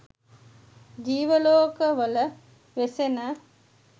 ජීව ලෝකවල වෙසෙන